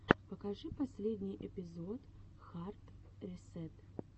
покажи последний эпизод хард ресэт